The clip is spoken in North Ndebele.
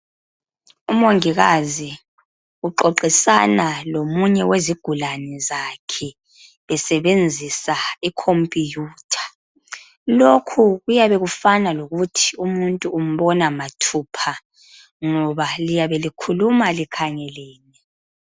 Umongikazi uxoxisana lomunye wezigulane zakhe besebenzisa ikhompuyutha lokhu kuyabe kufana lokuthi umuntu umuntu umbona mathupha ngoba liyabe likhuluma likhangelene.